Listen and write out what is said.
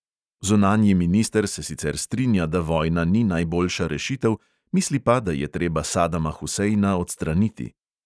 Zunanji minister se sicer strinja, da vojna ni najboljša rešitev, misli pa, da je treba sadama huseina odstraniti.